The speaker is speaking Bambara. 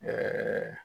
Ɛɛ